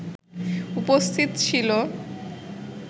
উপস্থিত ছিল